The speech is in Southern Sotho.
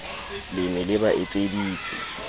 le ne le ba etseditse